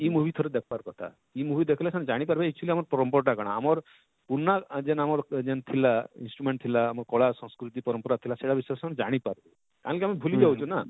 ଇ movie ଥରେ ଦେଖବାର କଥା ଇ movie ଦେଖଲେ ସେମାନେ ଜାଣି ପାରବେ actually ଆମର problem ଟା କାଣା ଆମର ପୁରନା ଯେନ ଆମର ଯେନ ଥିଲା instrument ଥିଲା ଆମର କଲା ସଂସ୍କୃତି ପରମ୍ପରା ଥିଲା ସେଟା ସେମାନେ ଜାଣି ପାରବେ କାହିଁକି ଆମେ ଭୁଲି ଯାଉଛୁ ନା